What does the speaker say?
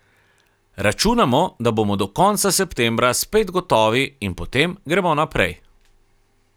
Računamo, da bomo do konca septembra spet gotovi in potem gremo naprej.